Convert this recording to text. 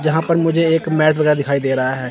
यहां पर मुझे एक वाला दिखाई दे रहा है।